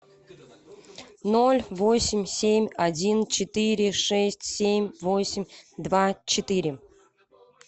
ноль восемь семь один четыре шесть семь восемь два четыре